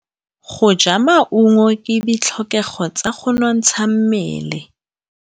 Go ja maungo ke ditlhokegô tsa go nontsha mmele.